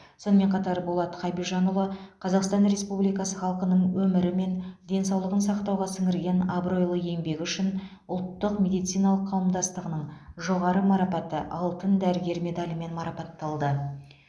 сонымен қатар болат хабижанұлы қазақстан республикасы халқының өмірі мен денсаулығын сақтауға сіңірген абыройлы еңбегі үшін ұлттық медициналық қауымдастығының жоғары марапаты алтын дәрігер медалімен марапатталды